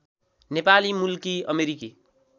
नेपाली मूलकी अमेरिकी